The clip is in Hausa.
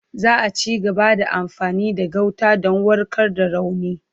Za a cigaba da amfani da gauta don warkar da rauni.